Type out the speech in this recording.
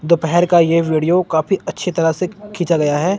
दोपहर का ये वीडियो काफी अच्छी तरह से खींचा गया है।